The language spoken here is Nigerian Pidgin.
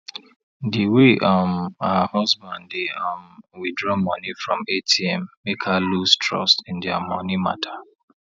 di way um her husband dey um withdraw money from atm make her loose trust in dia money matter